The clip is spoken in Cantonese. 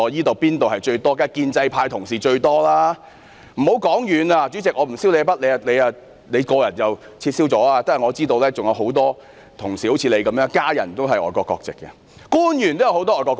當然是建制派同事居多，主席，我不算你那筆帳，你本身已經撤銷外國國籍，但我知道仍有很多同事如主席般，家人都是持外國國籍的，也有很多官員持外國國籍。